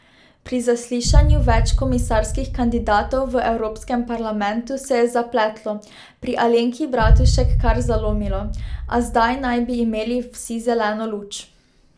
Pri zaslišanju več komisarskih kandidatov v Evropskem parlamentu se je zapletlo, pri Alenki Bratušek kar zalomilo, a zdaj naj bi imeli vsi zeleno luč.